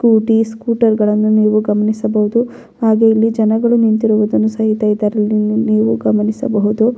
Scooty scooter ಗಳನ್ನು ನೀವು ಗಮನಿಸಬಹುದು ಹಾಗೆ ಇಲ್ಲಿ ಜನಗಳು ನಿಂತಿರುವುದನ್ನು ಸಹಿತ ಇದರಲ್ಲಿ ನೀವು ಗಮನಿಸಬಹುದು.